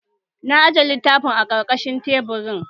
Na aje littafin a ƙarƙashin teburi na